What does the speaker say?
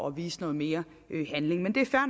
at vise noget mere handling men det er fair